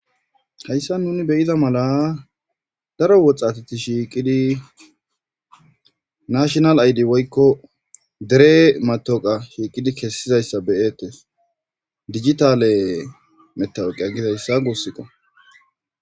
hayssa nuni beyiza mala daro woxxatati shiiqidi nashnal aydi woykko dere matoqa shiiqidi kessizayssa beyettes dijitale metawoqia gizayssa guussika